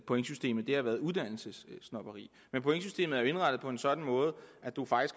af pointsystemet har været uddannelsessnobberi men pointsystemet er jo indrettet på en sådan måde